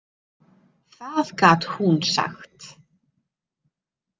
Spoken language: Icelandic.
Það gat hún sagt.